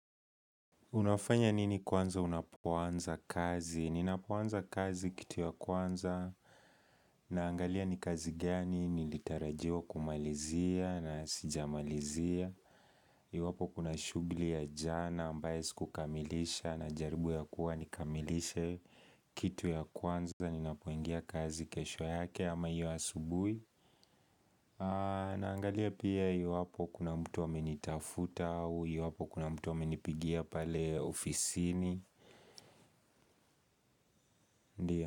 Unafanya nini kwanza unapoanza kazi? Ninapoanza kazi kitu ya kwanza naangalia ni kazi gani nilitarajiwa kumalizia na sijamalizia. Iwapo kuna shughuli ya jana ambayo sikukamilisha najaribu ya kuwa nikamilishe kitu ya kwanza ninapoingia kazi kesho yake ama hio asubuhi. Naangalia pia iwapo kuna mtu amenitafuta au iwapo kuna mtu amenipigia pale ofisini.